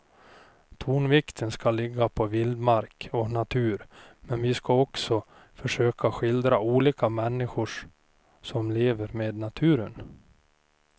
Tonvikten ska ligga på vildmark och natur men vi ska också försöka att skildra olika människor som lever med naturen.